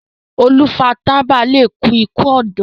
olu fà tábà lẹ kú iku ọdọ.